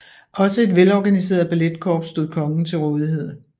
Også et vel organiseret balletkorps stod kongen til rådighed